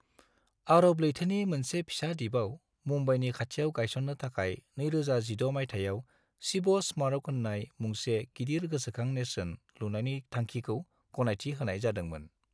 आरब लैथोनि मोनसे फिसा दिपाव मुंबाईनि खाथियाव गायस'ननो थाखाय 2016 मायथाइयाव शिव स्मारक होननाय मुंसे गिदिर गोसोखां नेरसोन लुनायनि थांखिखौ गनायथि होनाय जादोंमोन।